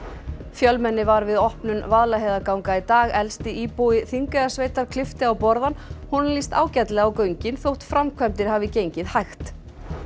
fjölmenni var við opnun Vaðlaheiðarganga í dag elsti íbúi Þingeyjarsveitar klippti á borðann honum líst ágætlega á göngin þótt framkvæmdir hafi gengið hægt